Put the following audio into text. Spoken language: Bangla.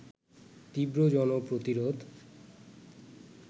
তীব্র জনপ্রতিরোধ